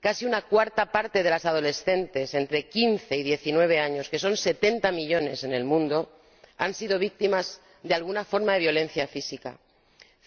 Casi una cuarta parte de las adolescentes entre quince y diecinueve años —que son setenta millones en el mundo— han sido víctimas de alguna forma de violencia física.